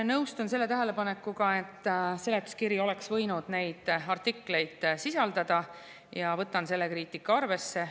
Nõustun selle tähelepanekuga, et seletuskiri oleks võinud neid artikleid sisaldada, ja võtan selle kriitika arvesse.